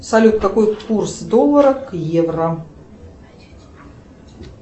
салют какой курс доллара к евро